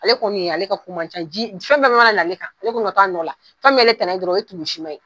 Ale kɔni ye ale ka ko man ca ji fɛn fɛn mana na ale kɔni ka to a nɔ la, fɛn mi y'ale tana dɔrɔn, o ye tumusima ye